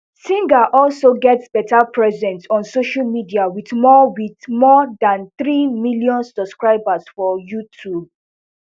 singh also get better presence on social media wit more wit more dan three million subscribers for youtube